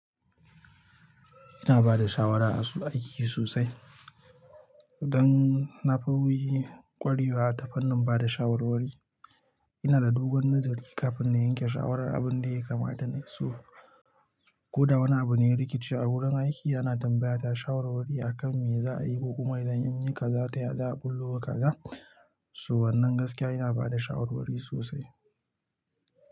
Ina ba da shawara a su aiki sosai. Dan na fi wuyi kwarewa ta fannin ba da shawarwari, ina da dogon nazari kafin na yanke shawarar abin da ya kamata na yi su. Ko da wani abu ne rikici a wurin aiki, ana tambaya ta shawarwari a kan me za a yi kokuma idan an yi kaza ta ya za a ɓullo wa kaza. So wannan gaskiya ina ba da shawarwari sosai.